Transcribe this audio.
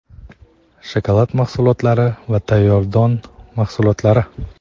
shokolad mahsulotlari va tayyor don mahsulotlari.